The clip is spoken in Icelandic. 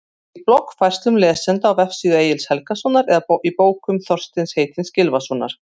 Í bloggfærslum lesenda á vefsíðu Egils Helgasonar eða í bókum Þorsteins heitins Gylfasonar?